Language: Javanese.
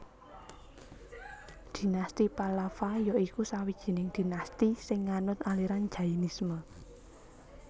Dinasti Pallava ya iku sawijining dinasti sing nganut aliran Jainisme